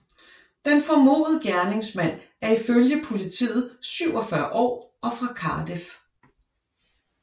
Den formodede gerningsmand er i følge Politiet 47 år og fra Cardiff